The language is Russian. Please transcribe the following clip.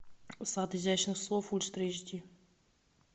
сад изящных слов ультра эйч ди